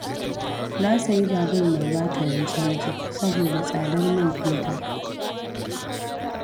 Na sayi babur mai batirin caji, saboda tsadar man fetur.